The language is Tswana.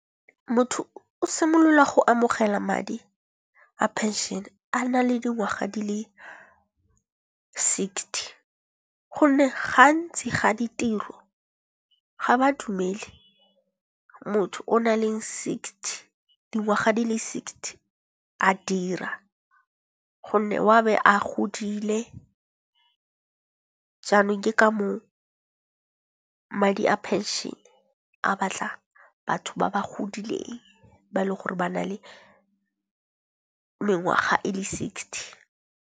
Motho o simolola go amogela madi a pension a na le dingwaga di le sixty. Gonne gantsi ga ditiro ga ba dumele motho o nang le sixty dingwaga di le sixty a dira, gonne wa be a godile. Jaanong ke ka moo madi a pension a batla batho ba ba godileng ba e le gore ba na le mengwaga e le sixty.